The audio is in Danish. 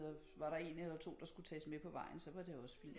Var der en eller to der skulle tages med på vejen så var det også fint